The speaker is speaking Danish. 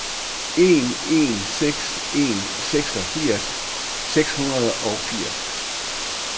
en en seks en seksogfirs seks hundrede og firs